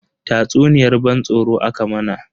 Tatsuniyar ban tsoro aka mana.